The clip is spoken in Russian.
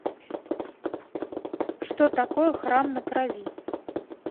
что такое храм на крови